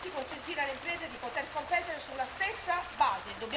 Dobbiamo infatti consentire alle imprese di poter competere sulla stessa base